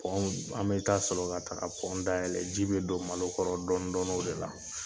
w, an bɛ taa sɔlɔ la ka ka w da yɛlɛ. Ji be don malo kɔrɔ dɔndɔni o de la.